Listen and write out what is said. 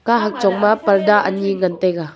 kahak chongma purda anyi ngan taiga.